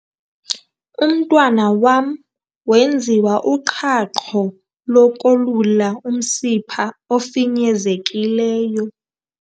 Umntwana wam wenziwa uqhaqho lokolula umsimpha ofinyezekileyo.